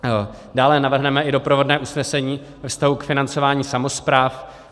Dále navrhneme i doprovodné usnesení ve vztahu k financování samospráv.